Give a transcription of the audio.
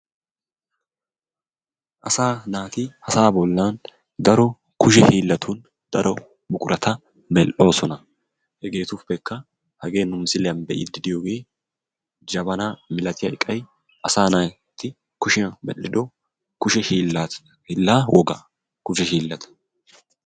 Asa naati ha sa'aa bollan daro kushe hiillatun daro buqurata mel"oosona . Hegeruppekka hage nu misiliyaan be'ide diyooge jabanna malatiya eqqay asa naati kushiyaan medhdhido kushee hiilaa wogaa, kushe hiilata.